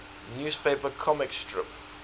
newspaper comic strip